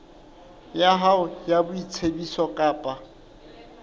ya hao ya boitsebiso kapa